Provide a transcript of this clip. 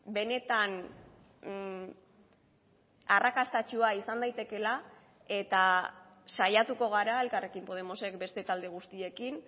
benetan arrakastatsua izan daitekeela eta saiatuko gara elkarrekin podemosek beste talde guztiekin